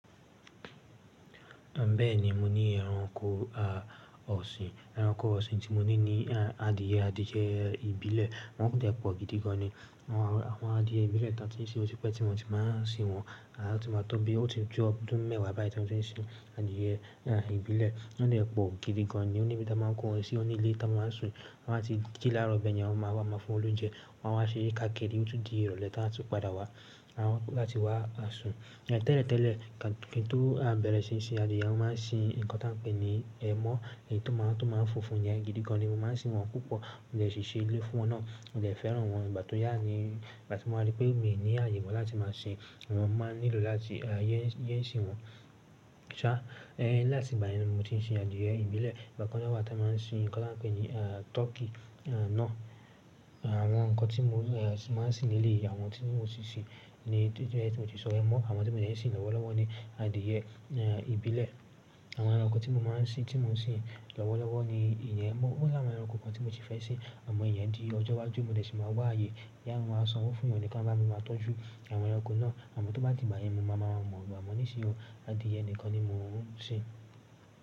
Bẹ́ẹ̀ni, mo ní ẹranko, ọ̀sìn. Ẹranko ọ̀sìn tí mo ní ni adìyẹ, adìyẹ ìbílẹ̀. Wọn de pọ̀ gidi gan ni. Wọn, àwọn adìyẹ ìbílẹ̀ tá tí ń ṣe ò tí pé tí mo ti máa ń sìn wọ́n. A ti máa tọ́ bí ó ti ju ọdún mẹ́wàá báyìí tí mo ti ń sìn adìyẹ ìbílẹ̀. Won de pọ̀ gidi gan ni. Ó ní ibi tí a máa ń kó wọn sí, ó ní ilé tí wọ́n máa ń sùn. Ti won bá ti jí láaro bẹ̀yẹn, wọ́n máa wá máa fún won lóunjẹ. Wọ́n a wa ṣere káakiri, ó tun di ìrọ̀lẹ́ tí wọn a tun padà wá. A máa kọ́ láti wá a sùn. Tẹ́lẹ̀ tẹ́lẹ̀ kí n tó bẹ̀rẹ̀ sí í sìn adìyẹ, mo máa ń sìn nǹkan tí a n ń pè ní ẹmọ́. Èyí tó máa ń, tó máa ń funfun yẹn gidi gan ni. Mo máa ń sìn wọ́n púpọ̀. Mo dẹ̀ ṣi ṣe ilé fún wọn náà. Mo dẹ̀ fẹ́ràn wọn. Ìgbà tó yà ni, ìgbà tí mo wa rí pé mi ní ààyè mọ́ láti máa sìn wọ́n, máa nílò láti yé n sìn wọ́n. Ṣá, láti ìgbà yẹn ni mo ti ń sìn adìyẹ ìbílẹ̀. Ìgbà kan náà wa tí a máa ń sìn nǹkan tí wọ́n ń pè ní tọ́kì náà. Àwọn nǹkan tí mo máa ń sìn leleyii, àwọn tí mo ti sìn ni tí mo ti sọ ẹmọ́. Àwọn tí mo dẹ̀ ń sìn lọ́wọ́lọ́wọ́ ni adìyẹ ìbílẹ̀. Àwọn ẹranko tí mo máa ń sìn, tí mo ń sìn lọ́wọ́lọ́wọ́ ni ìyẹn emọ́. Ó làwọn ẹranko kan tí mo si fẹ́ sìn àmọ́ ìyẹn di ọjọ́ iwájú mo dẹ̀ ti máa wá ààyè. Já, mo máa sanwó fúnyan ni kan wa bá mi máa tọ́jú àwọn ẹranko náà. Àmọ́ tó bá dìgbà yẹn, mo máa maa mọ̀ amo nìsìn ọ̀, adìyẹ nìkan ni mo ń sìn.